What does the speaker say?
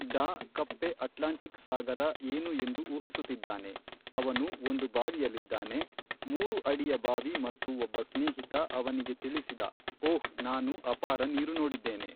ಡಾ ಕಪ್ಪೆ ಅಟ್ಲಾಂಟಿಕ್ ಸಾಗರ ಏನು ಎಂದು ಊಹಿಸುತ್ತಿದ್ದಾನೆ ಅವನು ಒಂದು ಬಾವಿಯಲ್ಲಿದ್ದಾನೆ. ಮೂರು ಅಡಿಯ ಬಾವಿ ಮತ್ತು ಒಬ್ಬ ಸ್ನೇಹಿತ ಅವನಿಗೆ ತಿಳಿಸಿದ ಓಹ್ ನಾನು ಅಪಾರ ನೀರು ನೋಡಿದ್ದೇನೆ.